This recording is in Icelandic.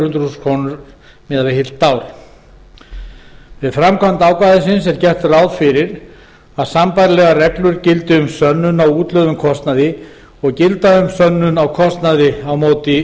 hundruð þúsund krónur á ári við framkvæmd ákvæðisins er gert ráð fyrir að sambærilegar reglur gildi um sönnun á útlögðum kostnaði og gilda um sönnun á kostnaði á móti